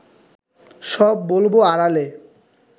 সব বলব আড়ালে